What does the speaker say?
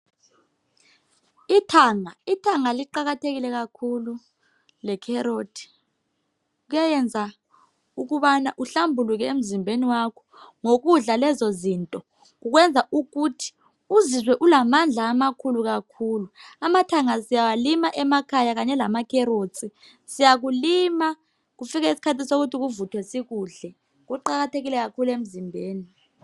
Ithanga liqakathekile kakhulu emzimbeni, le carrot. Kuyayenza ukubana uhlambuluke emzimbeni wakho. Ngokudla lezozinto kukwenza ukuthi uzizwe ulamandla amakhulu kakhulu. Amathanga lama Carrots siyakulima emakhaya kungafika isikhathi sokuthi kuvuthwe sikudle. Kuqakathekile kakhulu emzimbeni.